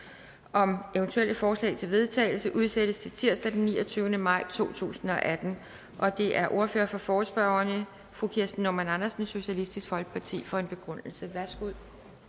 om eventuelle forslag til vedtagelse udsættes til tirsdag den niogtyvende maj to tusind og atten det er ordføreren for forespørgerne fru kirsten normann andersen socialistisk folkeparti for en begrundelse værsgo